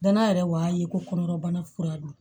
Danaya yɛrɛ y'a ye ko kɔnɔbana kura don